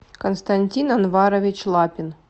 константин анварович лапин